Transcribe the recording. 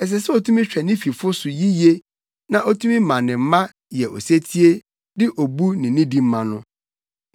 Ɛsɛ sɛ otumi hwɛ ne fifo so yiye na otumi ma ne mma yɛ osetie de obu ne nidi ma no.